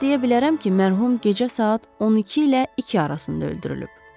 Ancaq deyə bilərəm ki, mərhum gecə saat 12 ilə 2 arasında öldürülüb.